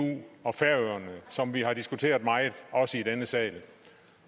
og færøerne som vi har diskuteret meget også i denne sal